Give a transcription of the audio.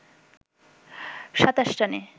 ২৭ রানে